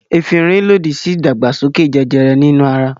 Efirin lòdì sí ìdàgbàsókè jẹjẹrẹ nínú ara.